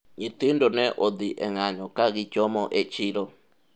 nyithindo ne odhi e ng'ayo ka gichomo e chiro